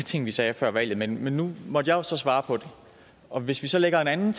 ting vi sagde før valget men nu måtte jeg jo så svare på det og hvis vi så lægger en anden